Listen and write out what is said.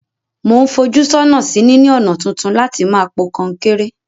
Mo n fojú sónà sí níní ònà tuntun láti ma po kankéré